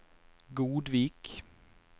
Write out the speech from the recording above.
Godvik